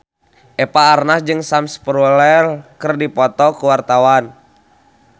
Eva Arnaz jeung Sam Spruell keur dipoto ku wartawan